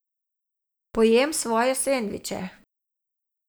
Pojem svoje sendviče.